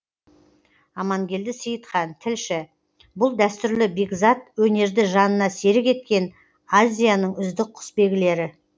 амангелді сейітхан тілші бұл дәстүрлі бекзат өнерді жанына серік еткен азияның үздік құсбегілері